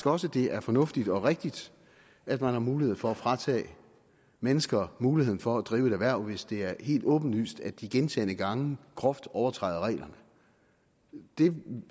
også det er fornuftigt og rigtigt at man har mulighed for at fratage mennesker muligheden for at drive et erhverv hvis det er helt åbenlyst at de gentagne gange groft overtræder reglerne det